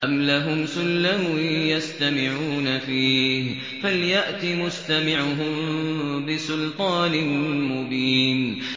أَمْ لَهُمْ سُلَّمٌ يَسْتَمِعُونَ فِيهِ ۖ فَلْيَأْتِ مُسْتَمِعُهُم بِسُلْطَانٍ مُّبِينٍ